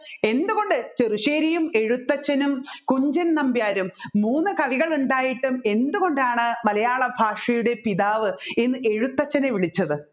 എന്തുകൊണ്ട് ചെറുശ്ശേരിയും എഴുത്തച്ഛനും കുഞ്ചൻനമ്പ്യാരും മൂന്ന് കവികൾ ഉണ്ടായിട്ടും എന്തുകൊണ്ടാണ് മലയാളഭാഷയുടെ പിതാവ് എന്ന് എഴുത്തച്ഛനെ വിളിച്ചത്